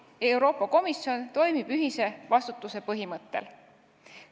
Euroopa Komisjon toimib ühise vastutuse põhimõttel.